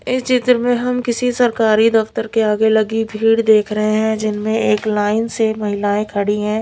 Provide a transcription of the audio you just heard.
इस चित्र में हम किसी सरकारी दफ्तर के आगे लगी भीड़ देख रहे है जिनमें एक लाइन से महिलाएं खड़ी है।